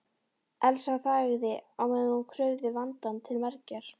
Elsa þagði á meðan hún krufði vandann til mergjar.